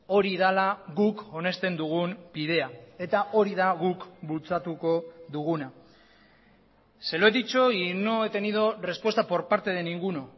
hori dela guk onesten dugun bidea eta hori da guk bultzatuko duguna se lo he dicho y no he tenido respuesta por parte de ninguno